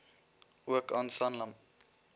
ook aan sanlam